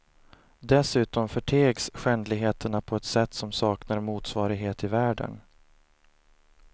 Dessutom förtegs skändligheterna på ett sätt som saknar motsvarighet i världen.